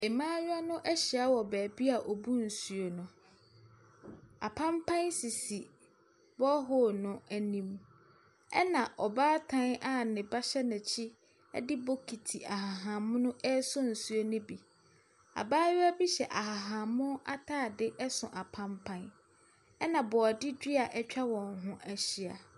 Mmayewa no ahyia wɔ baabi a wɔbu nsuo no. Apampan sisi borehole no anim, ɛnna ɔbaatan a ne ba hyɛ n'akyi ne bokiti ahahan mono resɔ nsuo no bi. Abayewa bi hyɛ ahahan mono atade so apampan. Ɛnna borɔde dia atwa wɔn ho ahyia.